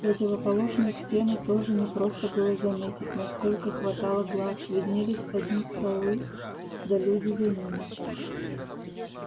противоположную стену тоже не просто было заметить насколько хватало глаз виднелись одни столы да люди за ними